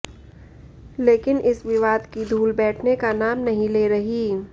लेकिन इस विवाद की धूल बैठने का नाम नहीं ले रही